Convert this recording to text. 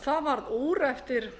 það varð úr eftir